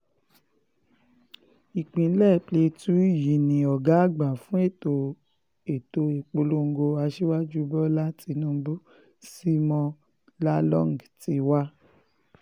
ìpínlẹ̀ plateau yìí ni ọ̀gá àgbà fún ètò ètò ìpolongo aṣíwájú bọ́lá tinubu simeon lalong ti wá